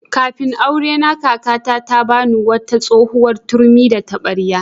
Kafin aurena, kakata ta ba ni wata tsohuwar turmi da taɓarya.